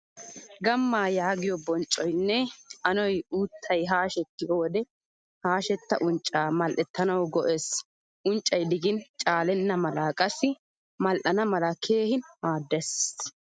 Gammaa yaagiyo bonccoynne anoy uttay haashettiyo wode haashetta uncca mal'ettanawu go'ees. Unccay digin caalena mala qassi mal'ana mala keehin maaddees.